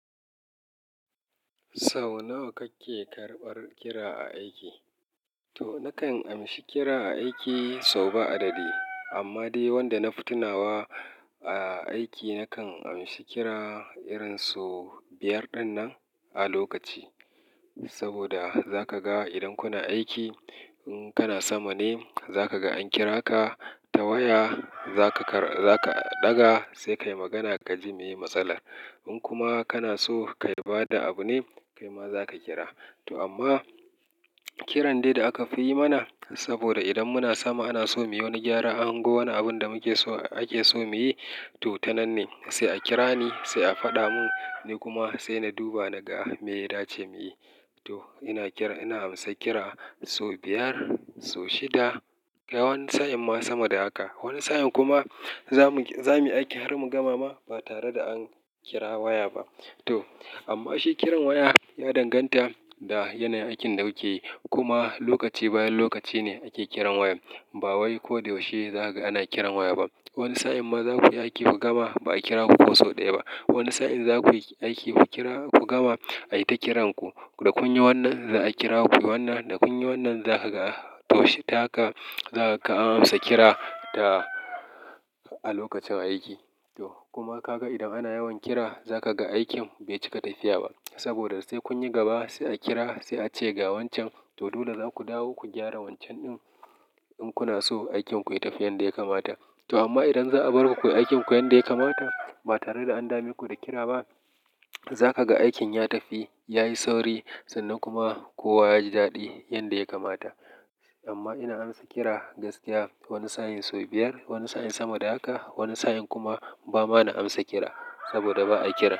Sau nawa kake karɓar kira a aiki? To, na kan amshi kira aiki sau ba adadi. Amma dai wanda na fitinawa a aiki, na kan amshi kira irin sau biyar ɗinnan a lokaci. Saboda za ka ga idan kuna aiki, in kana samane za ka ga an kira ka. Ta waya za ka ɗaga sai ka yi magana ka ji meya matsalar. In kuma kana so ka bada abu ne, kai ma za ka kira. To amma kiran dai da aka fi yi mana saboda idan muna sama ana so mu yi wani gyara, an hango wani abun da ake so mu yi. To tanan ne sai a kira ni, sai a faɗamun ni kuma sai na duba na ga me ya dace muyi. To ina amsa kira sau biyar, sau shida, kai wani sa'in ma sama da haka. Wani sa'in kuma za muyi aiki har mu gama ma ba tare da an kira waya ba. To amma shi kiran waya ya danganta da yanayin aikin da kuke yi. Kuma lokaci bayan lokaci ne ake kiran waya. Ba wai ko da yaushe zakaga ana kiran waya ba. Wani sa'in ma za ku yi aiki ku gama ba a kira ku ko sau ɗaya ba. Wani sa'in za kuyi aiki ku kira, ku gama ai ta kiranku. Da kun yi wannan za a kira ku. Wannan da kun yi wannan za ka ga to tahaka za ka amsa kira a lokacin aiki. To kuma ka ga idan ana yawan kira za ka ga aikin bai cika tafiya ba. Saboda sai kun yi gaba sai a kira sai a ce ga wancan. To dole za ku dawo ku gyara wancan din inkuna so aikinku ya tafi yanda ya kamata. To amma idan za'a bar ku ku yi aikinku yanda ya kamata ba tare da an dame ku da kira ba, za ka ga aikin ya tafi, ya yi sauri sannan kuma kowa ya ji daɗi yanda ya kamata. Amma ina amsa kira gaskiya wani sa'in sau biyar, wani sa'in sama da haka. Wani sa'in kuma ba ma na amsa kira saboda ba a kira.